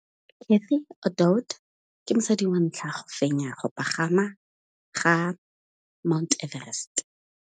Cathy Odowd ke mosadi wa ntlha wa go fenya go pagama ga Mt Everest.